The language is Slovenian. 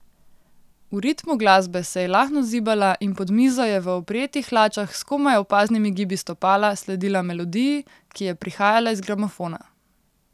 V ritmu glasbe se je lahno zibala in pod mizo je v oprijetih hlačah s komaj opaznimi gibi stopala sledila melodiji, ki je prihajala iz gramofona.